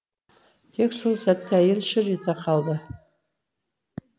тек сол сәтте әйел шыр ете қалды